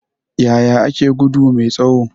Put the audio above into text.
Yaya ake gudu mai tsawo?